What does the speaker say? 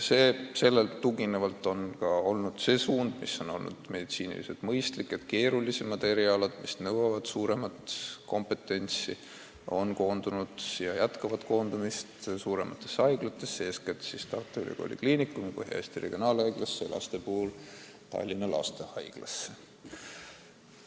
Meditsiiniliselt mõistlik suund on olnud, et keerulisemad erialad, mis nõuavad enam kompetentsi, on koondunud ja jätkavad koondumist suurematesse haiglatesse, eeskätt siis Tartu Ülikooli Kliinikumi, Põhja-Eesti Regionaalhaiglasse ja Tallinna Lastehaiglasse.